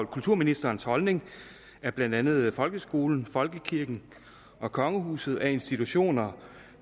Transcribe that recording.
kulturministerens holdning at blandt andet folkeskolen folkekirken og kongehuset er institutioner